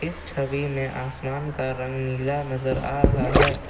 छवि में आसमान का रंग नीला नजर आ रहा है।